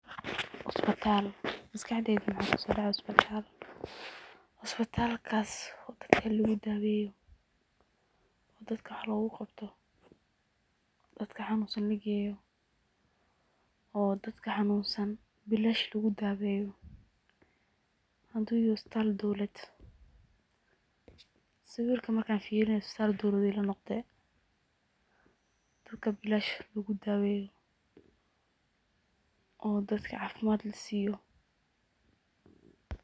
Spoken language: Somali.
Makaxdeyda waxa kusodacaya isbatal, isbatalkas oo dadka lugudaweyo oo dadka wax loguqabto dadka xanunsan lageyo oo bilash lugudaweyo hadu yahay isbital dowladed. Sawirka markan firinaye istal dowladed ilanoqde oo dadka bilash lugudaweyo oo dadka cafimad lasiyo.